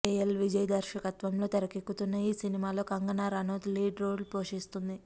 AL Vijay దర్శకత్వంలో తెరకెక్కుతున్న ఈ సినిమాలో కంగనా రనౌత్ లీడ్ రోల్ పోషిస్తోంది